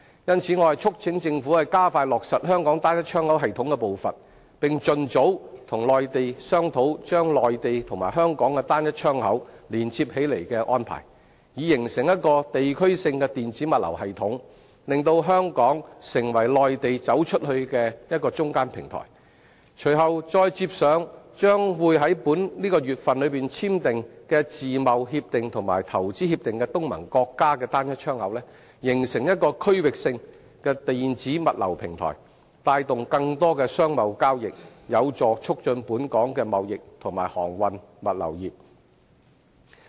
因此，我促請政府加快落實香港"單一窗口"系統的步伐，並盡早與內地商討把內地和香港的"單一窗口"連接起來的安排，以形成一個地區性的電子物流系統，令香港成為內地走出去的中間平台；隨後再接上將於本月與簽訂自貿協定及投資協定的東盟國家的"單一窗口"，形成區域性電子物流平台，帶動更多商貿交易，有助促進本港的貿易和航運物流業。